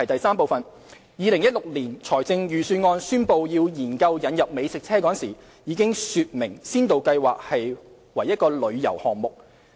三2016年財政預算案宣布要研究引入美食車時，已經說明先導計劃為旅遊項目。